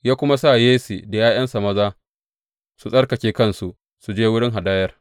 Ya kuma sa Yesse da ’ya’yansa maza su tsarkake kansu, su je wurin hadayar.